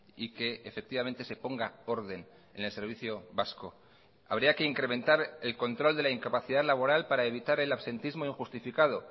y que efectivamente se ponga orden en el servicio vasco habría que incrementar el control de la incapacidad laboral para evitar el absentismo injustificado